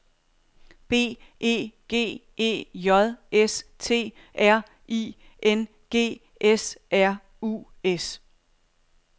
B E G E J S T R I N G S R U S